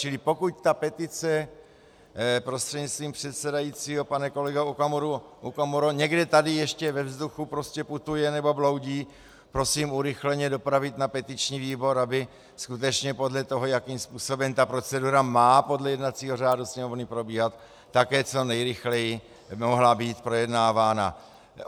Čili pokud ta petice, prostřednictvím předsedajícího, pane kolego Okamuro, někde tady ještě ve vzduchu prostě putuje nebo bloudí, prosím urychleně dopravit na petiční výbor, aby skutečně podle toho, jakým způsobem ta procedura má podle jednacího řádu Sněmovny probíhat, také co nejrychleji mohla být projednávána.